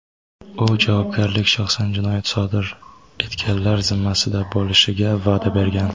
U "javobgarlik shaxsan jinoyat sodir etganlar zimmasida bo‘lishi"ga va’da bergan.